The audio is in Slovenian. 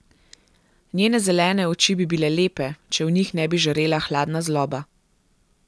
Njene zelene oči bi bile lepe, če v njih ne bi žarela hladna zloba.